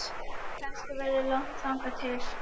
Kannski verður langt þangað til